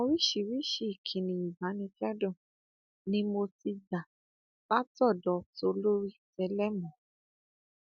oríṣiríṣiì ìkíni ìbánikẹdùn ni mo ti gbà látọdọ tolórí tẹlẹmù